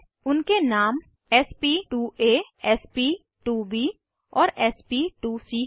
उनके नाम sp2आ sp2ब और sp2सी हैं